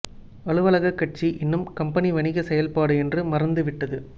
அலுவலகக் கட்சி இன்னும் கம்பெனி வணிக செயல்பாடு என்று மறந்து விட்டது